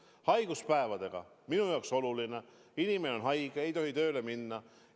Mis puutub haiguspäevadesse, siis minu jaoks on oluline põhimõte, et kui inimene on haige, siis ta ei tohi tööle minna.